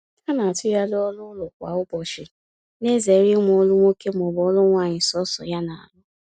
Ha na-atughari ọrụ ụlọ kwa ụbọchị, na ezere inwe ọrụ nwoke ma ọ bụ nwanyi sọsọ ya na arụ